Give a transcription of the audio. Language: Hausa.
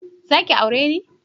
Zaki aure ne?